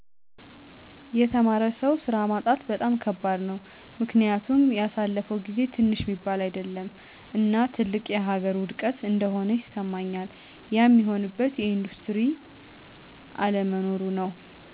የተማረ ሰው ሥራ ማጣት በጣም ከባድ ነው። ምክኒያቱም ያሣለፈው ጊዜ ትንሽ ሚባል አይደለም እና ትልቅ የሀገር ውድቀት እንደሆነ ይስማኛል። ያም ሚሆንበት የኢንዱስትሪ አለመኖሩ ነው።